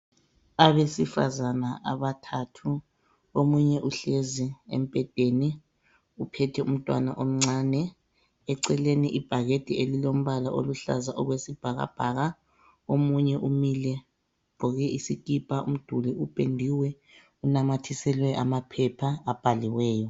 Abesifazana abathathu omunye uhlezi embhedeni uphethe umntwana omncane. Eceleni ibhakede elilombala oluhlaza okwesibhakabhaka. Omunye umile ugqoke isikipa. Umduli upendiwe unamathiselwe amaphepha abhaliweyo.